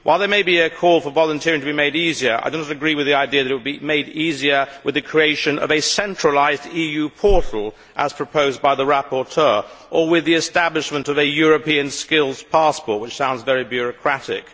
While there may be a call for volunteering to be made easier, I do not agree with the idea that it would be made easier with the creation of a centralised EU portal, as proposed by the rapporteur, or with the establishment of a European skills passport, which sounds very bureaucratic.